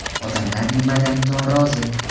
Odamlar nimadan norozi?